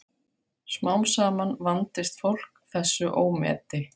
Smám saman vandist fólk þessu ómeti.